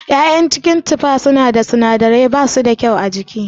ya'yan cikin tufa suna da sinadirai kuma bashi da kyau a jiki.